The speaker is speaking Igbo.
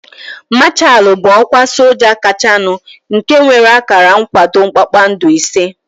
Mashaalu bụ ọkwa soja kachanu nke nwere akara nkwado kpakpando ise